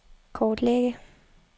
kortlægge